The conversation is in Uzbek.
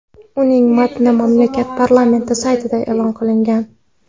Uning matni mamlakat parlamenti saytida e’lon qilingan .